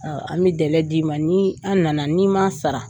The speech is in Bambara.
an bɛ dɛlɛ d'i ma ni an na na n'i man sara.